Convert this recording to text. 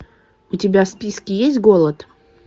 у тебя в списке есть голод